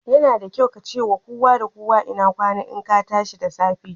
Yana da kyau ka ce wa kowa da kowa Inakwana in ka tashi da safe.